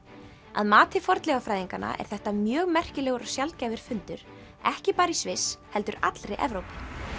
að mati fornleifafræðinganna er þetta mjög merkilegur og sjaldgæfur fundur ekki bara í Sviss heldur allri Evrópu